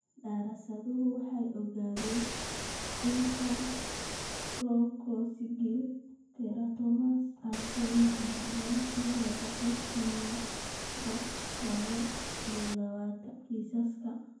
Daraasaduhu waxay ogaadeen in sacrococcygeal teratomas ay soo noqnoqdaan ilaa boqolkiba lawo iyo lawatan kiisaska.